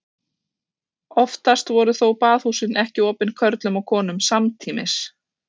Oftast voru þó baðhúsin ekki opin körlum og konum samtímis.